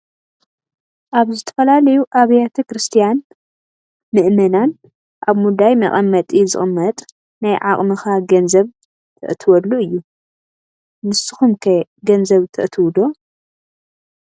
አብ ዝተፈላለዮ አብያ ተ ክርስትያን መእመናን አብ ሙዳይ መቀመጢ ዝቅመጥ ናይ ዓቅም ካ ገንዘብ ተእትወሉ እዮ ።ንሰኩም ከ ገንዘብ ተእትው ዶ ?